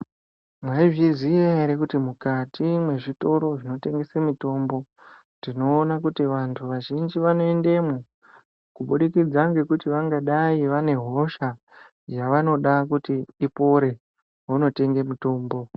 Mwaizviziya ere kuti mukati mwezvitoro zvinotengese mitombo tinoona kuti vantu vazhinji vanoendemwo kubudikidza ngekuti vangadai vane hosha yavangada kuti ipore vonotenge mitombo